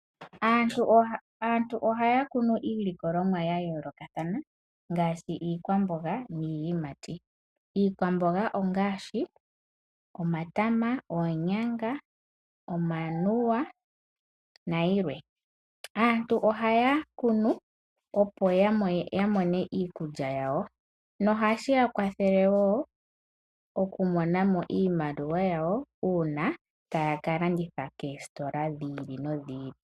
Aantu ohaya kunu iilikolomwa yayoolokathana ngaashi iikwamboga niiyamati. Iikwamboga ongaashi omatama, oonyanga, omanuwa nayilwe. Aantu ohaya kunu opo yamone iikulya yawo nohashi ya kwathele woo okumona iimaliwa yawo taya kalanditha koositola dhili nodhili.